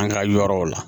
An ka yɔrɔw la